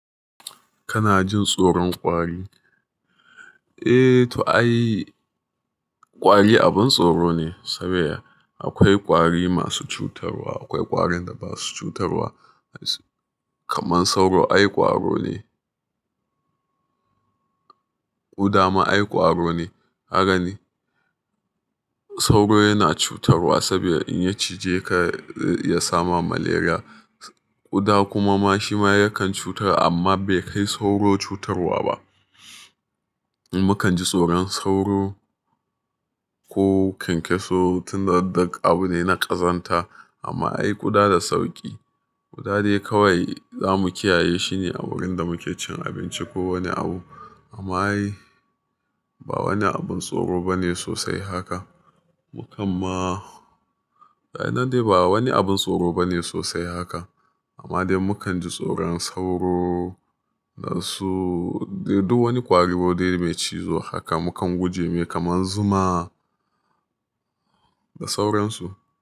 Kana jin tsoron ƙwari? Eh to ai ƙwari abin tsoro ne saboda akwai ƙwari masu cutarwa, akwai ƙwarin da basu cutarwa. Kaman sauro ai ƙwaro ne. Ƙuda ma ai ƙwaro ne. Haka ne. Sauro yana cutarwa saboda in ya cije ka ya sama malaria. Ƙuda kuma ma shi ma yakan cutarwa amma bai kai sauro cutarwa ba. Mukan ji tsoron sauro ko kyankyaso tun da duk abu ne na ƙazanta amma dai ƙuda da sauki. Za dai kawai zamu kiyaye shine a wurin da muke cin abinci ko wani abu amma ai ba wani abin tsoro bane sosai haka. Mu kam ma, daina dai ba wani abin tsoro bane sosai haka amma dai mukan ji tsoron sauro da su, duk wani ƙwari dai mai cizo haka mukan guje mai kaman zuma da sauransu.